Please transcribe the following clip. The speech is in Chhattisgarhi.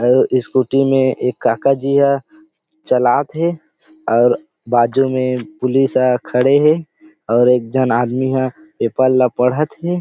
और एक स्कूटी में एक काका जी ह चलात थे अउ बाजु में पुलिस खड़े हे और एक झन आदमी ह पेपर ला पढ़त थे।